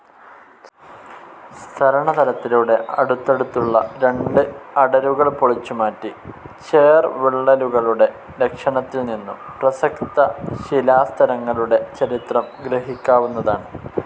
സ്തരണതലത്തിലൂടെ അടുത്തടുത്തുള്ള രണ്ട് അടരുകൾ പൊളിച്ചുമാറ്റി, ചേർവിള്ളലുകളുടെ ലക്ഷണത്തിൽനിന്നും പ്രസക്ത ശിലാസ്തരങ്ങളുടെ ചരിത്രം ഗ്രഹിക്കാവുന്നതാണ്.